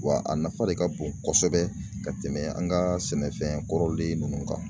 Wa a nafa de ka bon kosɛbɛ ka tɛmɛ an ka sɛnɛfɛn kɔrɔlen nunnu kan.